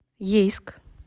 ейск